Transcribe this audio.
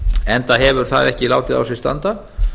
enda hefur það ekki látið á sér standa